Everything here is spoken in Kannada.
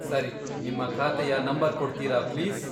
ಸರಿ. ನಿಮ್ಮ ಖಾತೆಯ ನಂಬರ್ ಕೊಡ್ತೀರಾ ಪ್ಲೀಸ್?